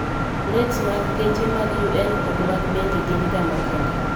Plets mag geche mag UN kod mag Bengi gin ga makende